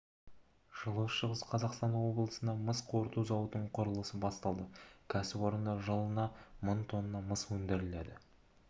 жылы шығыс қазақстан облысында мыс қорыту зауытының құрылысы басталады кәсіпорында жылына мың тонна мыс өндіріледі деп